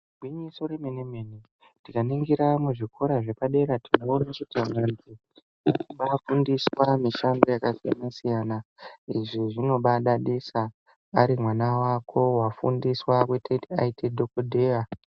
Gwinyiso remene-mene, tikaningiramuzvikora zvepadera tinoona vadzidzi veifundiswa mishando yakasiyana-siyana. Izvi zvinobaadadisa, ari mwana wako wafundiswa kutoti aite dhogodheya.